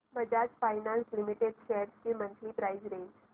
Bajaj finance limited shares ची monthly price range